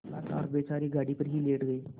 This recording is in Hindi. लाचार बेचारे गाड़ी पर ही लेट गये